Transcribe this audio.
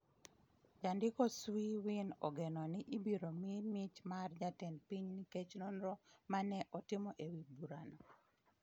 Jandiko Swe Win ogeno ni ibiro mi mich mar jatend piny nikech nonro ma ne otimo e wi burano.